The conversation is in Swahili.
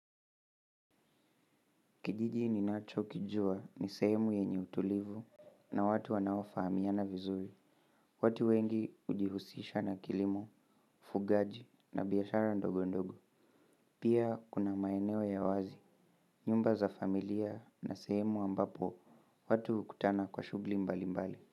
Kijiji ninacho kijua ni sehemu yenye utulivu na watu wanaofaamiana vizuri. Watu wengi hujihusisha na kilimo, ufugaji na biashara ndogo ndogo. Pia kuna maeneo ya wazi, nyumba za familia na sehemu ambapo watu hukutana kwa shuguli mbali mbali.